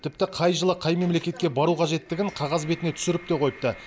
тіпті қай жылы қай мемлекетке бару қажеттігін қағаз бетіне түсіріп те қойыпты